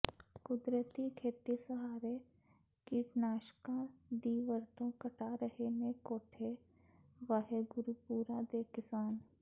ਕੁਦਰਤੀ ਖੇਤੀ ਸਹਾਰੇ ਕੀਟਨਾਸ਼ਕਾਂ ਦੀ ਵਰਤੋਂ ਘਟਾ ਰਹੇ ਨੇ ਕੋਠੇ ਵਾਹਿਗੁਰੂਪੁਰਾ ਦੇ ਕਿਸਾਨ